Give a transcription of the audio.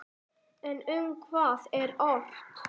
En um hvað er ort?